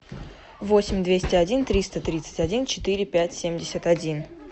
восемь двести один триста тридцать один четыре пять семьдесят один